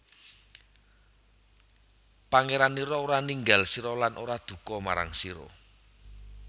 Pangeranira ora ninggal sira lan ora duka marang sira